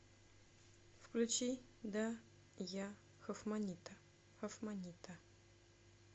включи да я хофманнита хофманнита